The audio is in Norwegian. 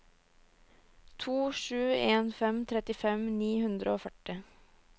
to sju en fem trettifem ni hundre og førti